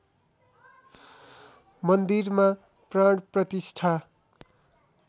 मन्दिरमा प्राण प्रतिष्ठा